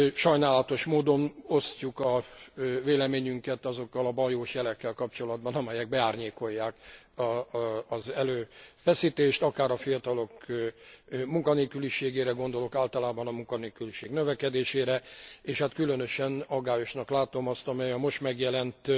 Sajnálatos módon osztjuk a véleményünket azokkal a baljós jelekkel kapcsolatban, amelyek beárnyékolják az erőfeszítést, akár a fiatalok munkanélküliségére gondolok, általában a munkanélküliség növekedésére, és különösen aggályosnak látom azt, amely a most megjelent